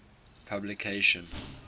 publication